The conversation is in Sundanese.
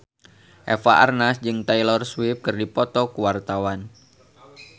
Eva Arnaz jeung Taylor Swift keur dipoto ku wartawan